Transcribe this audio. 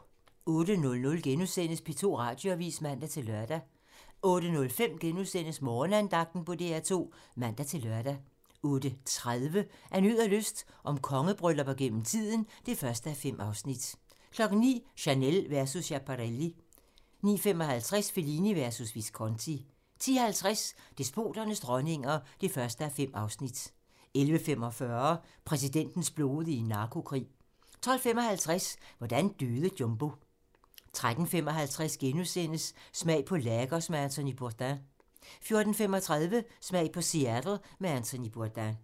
08:00: P2 Radioavis *(man-lør) 08:05: Morgenandagten på DR2 *(man-lør) 08:30: Af nød og lyst - om kongebryllupper gennem tiden (1:5) 09:00: Chanel versus Schiaparelli 09:55: Fellini versus Visconti 10:50: Despoternes dronninger (1:5) 11:45: Præsidentens blodige narkokrig 12:55: Hvordan døde Jumbo? 13:55: Smag på Lagos med Anthony Bourdain * 14:35: Smag på Seattle med Anthony Bourdain